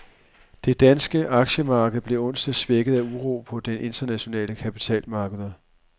Det danske aktiemarked blev onsdag svækket af uro på de internationale kapitalmarkeder.